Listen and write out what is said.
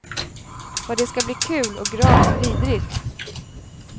Vad det ska bli kul och gravt vidrigt.